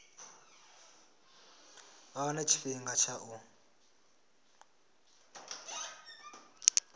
vha wane tshifhinga tsha u